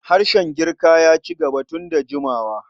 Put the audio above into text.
Harshen Girkaya ci gaba tun da jimawa.